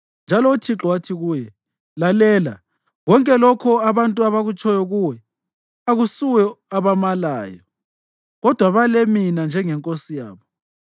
Njalo uThixo wathi kuye: “Lalela konke lokho abantu abakutshoyo kuwe; akusuwe abamalayo, kodwa bale mina njengeNkosi yabo.